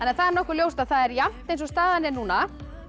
það er nokkuð ljóst að það er jafnt eins og staðan er núna